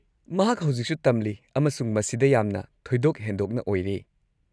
ꯃꯍꯥꯛ ꯍꯧꯖꯤꯛꯁꯨ ꯇꯝꯂꯤ ꯑꯃꯁꯨꯡ ꯃꯁꯤꯗ ꯌꯥꯝꯅ ꯊꯣꯏꯗꯣꯛ-ꯍꯦꯟꯗꯣꯛꯅ ꯑꯣꯏꯔꯦ꯫